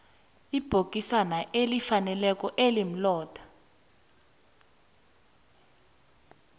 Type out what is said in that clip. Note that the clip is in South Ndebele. ibhokisana elifaneleko elimlotha